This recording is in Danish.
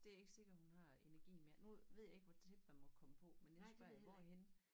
Det ikke sikkert hun har energien mere nu ved jeg ikke hvor tæt man må komme på men jeg spørger jeg hvorhenne